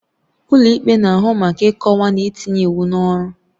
Ụlọ ikpe na-ahụ maka ịkọwa na itinye iwu n'ọrụ.